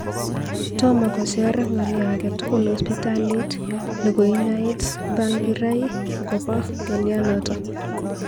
Tomo kocher ng'alyo agetugul hospitalit ne koinyoi Tsvangirai akobo ng'alyanoto